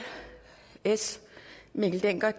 mikkel dencker